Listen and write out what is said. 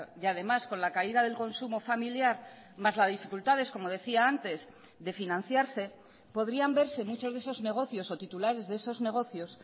y además con la caída del consumo familiar más las dificultades como decía antes de financiarse podrían verse muchos de esos negocios o titulares de esos negocios